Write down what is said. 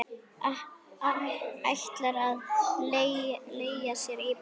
Ætlar að leigja sér íbúð.